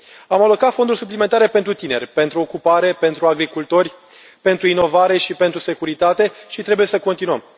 Am alocat fonduri suplimentare pentru tineri, pentru ocupare, pentru agricultori, pentru inovare și pentru securitate și trebuie să continuăm.